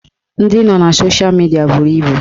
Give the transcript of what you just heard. Ndị nọ na sosha midia buru ibu